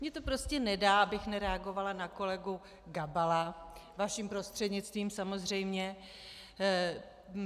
Mně to prostě nedá, abych nereagovala na kolegu Gabala, vaším prostřednictvím, samozřejmě.